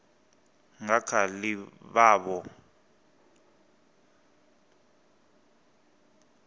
nga kha ḓi vha vho